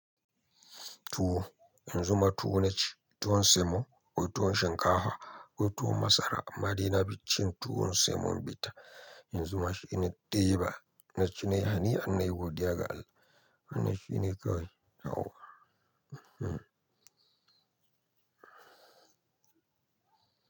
Tuwo, yanzu ma tuwo na ci, tuwon semo, ko tuwon shinkafa, ko tuwon masara amma dai na fi cin tuwon semonbitta. Yanzu ma shi na diba, na ci nayi hanian nayi godiya ga Allah. Wannan shi ne kawai yawwa Hmm.